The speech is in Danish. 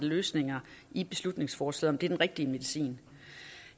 løsninger i beslutningsforslaget er den rigtige medicin